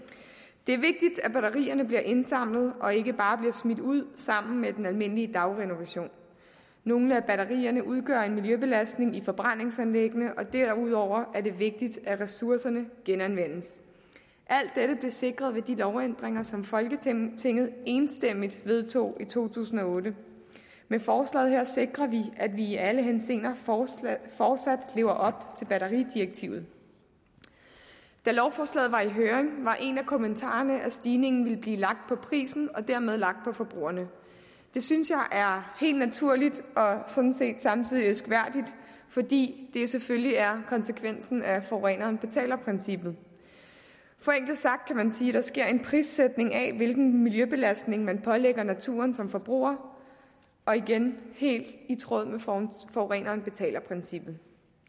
det er vigtigt at batterierne bliver indsamlet og ikke bare bliver smidt ud sammen med den almindelige dagrenovation nogle af batterierne udgør en miljøbelastning i forbrændingsanlæggene og derudover er det vigtigt at ressourcerne genanvendes alt dette blev sikret ved de lovændringer som folketinget enstemmigt vedtog i to tusind og otte med forslaget her sikrer vi at vi i alle henseender fortsat lever op til batteridirektivet da lovforslaget var i høring var en af kommentarerne at stigningen ville blive lagt på prisen og dermed lagt på forbrugerne det synes jeg er helt naturligt og sådan set samtidig elskværdigt fordi det selvfølgelig er konsekvensen af forureneren betaler princippet forenklet sagt kan man sige at der sker en prissætning af hvilken miljøbelastning man pålægger naturen som forbruger og igen helt i tråd med forureneren betaler princippet